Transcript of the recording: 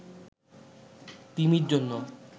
তিমির জন্য